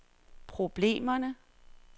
problemerne